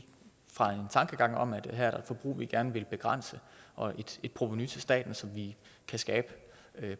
fra en tankegang om at der her er et forbrug vi gerne vil begrænse og et provenu til staten som vi kan skabe